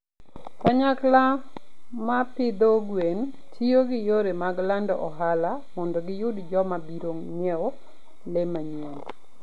Kanyakla ma pidho gwen tiyo gi yore mag lando ohala mondo giyud joma biro ng'iewo le manyien.